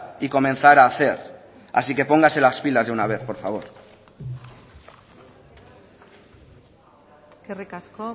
y comenzar a hacer así que póngase las pilas de una vez por favor eskerrik asko